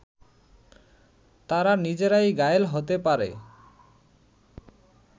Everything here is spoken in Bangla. তারা নিজেরাই ঘায়েল হতে পারে